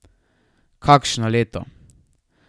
Kakšno leto!